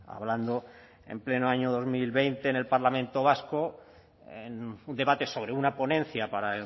hablando en pleno año dos mil veinte en el parlamento vasco en un debate sobre una ponencia para